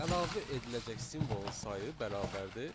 Əlavə ediləcək simvolun sayı bərabərdir